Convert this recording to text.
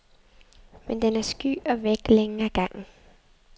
Men den er sky og væk længe ad gangen.